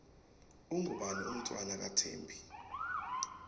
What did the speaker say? ungubani umntfwana wathembi